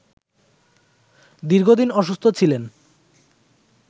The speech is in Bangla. দীর্ঘদিন অসুস্থ ছিলেন